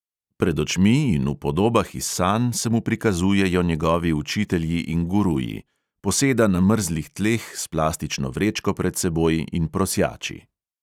Pred očmi in v podobah iz sanj se mu prikazujejo njegovi učitelji in guruji, poseda na mrzlih tleh s plastično vrečko pred seboj in prosjači.